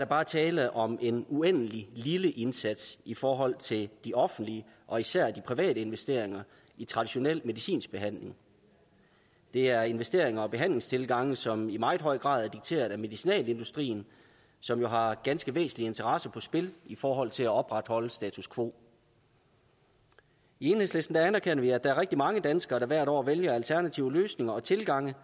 bare er tale om en uendelig lille indsats i forhold til de offentlige og især de private investeringer i traditionel medicinsk behandling det er investeringer og behandlingstilgange som i meget høj grad er dikteret af medicinalindustrien som jo har ganske væsentlige interesser på spil i forhold til at opretholde status quo i enhedslisten anerkender vi at der er rigtig mange danskere der hvert år vælger alternative løsninger og tilgange